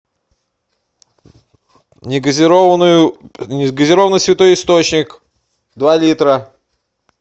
негазированную не газированный святой источник два литра